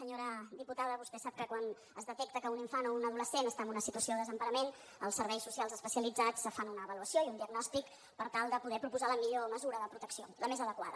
senyora diputada vostè sap que quan es detecta que un infant o un adolescent està en una situació de desemparament els serveis socials especialitzats fan una avaluació i un diagnòstic per tal de poder proposar la millor mesura de protecció la més adequada